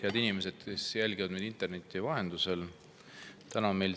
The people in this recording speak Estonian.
Head inimesed, kes te jälgite meid interneti vahendusel!